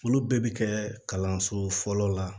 Olu bɛɛ bɛ kɛ kalanso fɔlɔ la